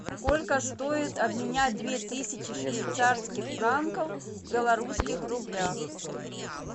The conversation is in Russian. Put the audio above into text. сколько стоит обменять две тысячи швейцарских франков в белорусских рублях